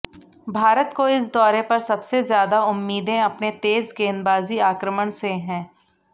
भारत को इस दौरे पर सबसे ज्यादा उम्मीदें अपने तेज गेंदबाजी आक्रमण से हैं